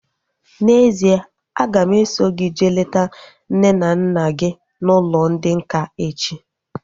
N'ezie, a ga m eso gị jee leta nne na nna gị n'ụlọ ndị nká echi